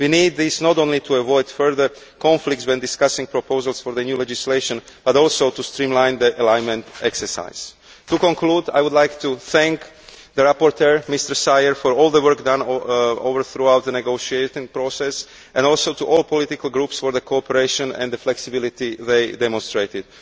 We need these not only to avoid further conflicts when discussing proposals for the new legislation but also to streamline the alignment exercise. To conclude I would like to thank the rapporteur, Mr Szájer, for all the work done throughout the negotiating process and also to all political groups for their cooperation and the flexibility they demonstrated.